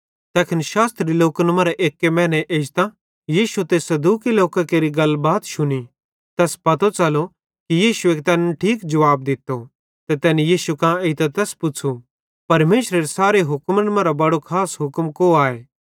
तैखन शास्त्री लोकन मरां एक्की मैने एजतां यीशु ते सदूकी लोकां केरि गलबात शुनी तैस पतो च़लो कि यीशुए तैनन् ठीक जुवाब दित्तो ते तैनी यीशु कां एइतां तैस पुच़्छ़ू परमेशरेरे सारे हुक्मन मरां बड़ो खास हुक्म को आए